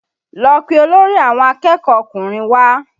Lọ pé olórí àwọn akẹ́kọ̀ọ́ ọkùnrin wá!